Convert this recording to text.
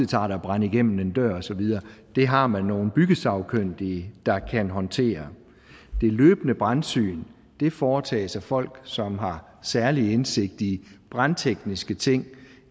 tager at brænde igennem en dør og så videre det har man nogle byggesagkyndige der kan håndtere det løbende brandsyn foretages af folk som har særlig indsigt i brandtekniske ting